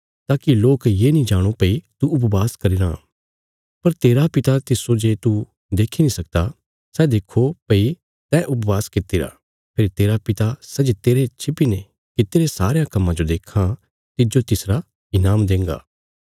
ताकि लोक ये नीं जाणे भई तू उपवास करीराँ पर तेरा पिता तिस्सो जे तू देखी नीं सकदा सै देक्खो भई तैं उपवास कित्तिरा फेरी तेरा पिता सै जे तेरे छिपिने कित्तिरे सारयां कम्मां जो देक्खां तिज्जो तिसरा ईनाम देंगा